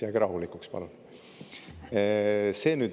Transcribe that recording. Jääge rahulikuks, palun!